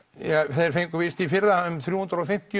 þeir fengu víst í fyrra þrjú hundruð og fimmtíu